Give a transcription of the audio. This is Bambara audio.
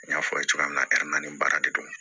N y'a fɔ a ye cogoya min na nin baara de don